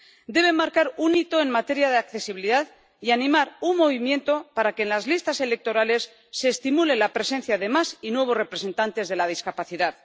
Deben marcar un hito en materia de accesibilidad y animar un movimiento para que en las listas electorales se estimule la presencia de más y nuevos representantes de la discapacidad.